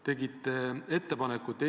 Sellega on ka seletatav meie erinev nägemus asjast.